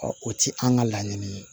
o ti an ka laɲini ye